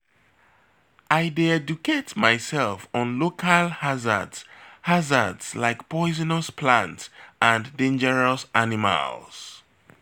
I dey educate myself on local hazards hazards like poisonous plants or dangerous animals.